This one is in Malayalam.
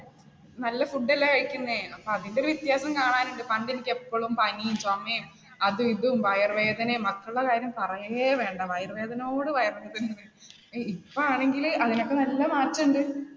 നല്ല food അല്ലേ കഴിക്കുന്നെ, അപ്പ അതിന്റെ ഒരു വ്യത്യാസം കാണാനുണ്ട്. പണ്ട് എനിക്കെപ്പോഴും പനിയും, ചുമേം അതുമിതും വയറുവേദനയും, മക്കളുടെ കാര്യം പറയേവേണ്ട വയറുവേദനയോട് വയറുവേദനയാണ് . ഇപ്പോ ആണെങ്കില് അതിനൊക്കെ നല്ല മാറ്റണ്ട്